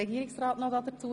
– Dies ist nicht der Fall.